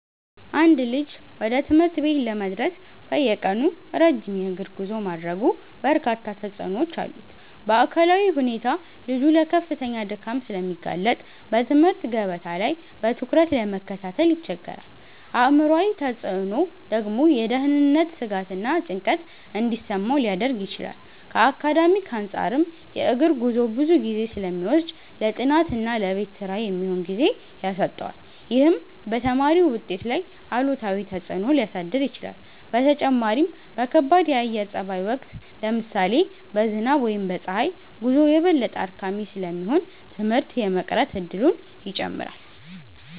አንድ ልጅ ወደ ትምህርት ቤት ለመድረስ በየቀኑ ረጅም የእግር ጉዞ ማድረጉ በርካታ ተጽዕኖዎች አሉት። በአካላዊ ሁኔታ ልጁ ለከፍተኛ ድካም ስለሚጋለጥ በትምህርት ገበታ ላይ በትኩረት ለመከታተል ይቸገራል። አእምሯዊ ተጽዕኖው ደግሞ የደህንነት ስጋትና ጭንቀት እንዲሰማው ሊያደርግ ይችላል። ከአካዳሚክ አንፃርም የእግር ጉዞው ብዙ ጊዜ ስለሚወስድ ለጥናትና ለቤት ስራ የሚሆን ጊዜ ያሳጣዋል። ይህም በተማሪው ውጤት ላይ አሉታዊ ተጽዕኖ ሊያሳድር ይችላል። በተጨማሪም በከባድ የአየር ጸባይ ወቅት (ለምሳሌ በዝናብ ወይም በፀሐይ) ጉዞው የበለጠ አድካሚ ስለሚሆን ትምህርት የመቅረት እድሉን ይጨምራል።